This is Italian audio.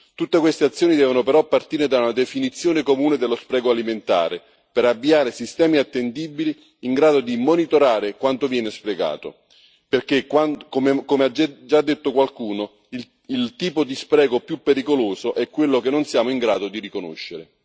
Tutte queste azioni devono però partire da una definizione comune dello spreco alimentare, per avviare sistemi attendibili in grado di monitorare quanto viene sprecato perché, come ha già detto qualcuno, il tipo di spreco più pericoloso è quello che non siamo in grado di riconoscere.